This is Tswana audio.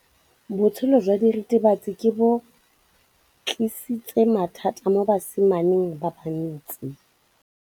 Botshelo jwa diritibatsi ke bo tlisitse mathata mo basimaneng ba bantsi.